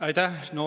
Aitäh!